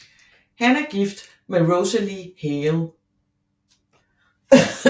Han er gift med Rosalie Hale